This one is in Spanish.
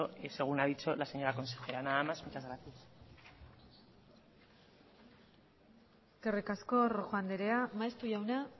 según ha dicho la señora consejera nada más muchas gracias eskerrik asko rojo andrea maeztu jauna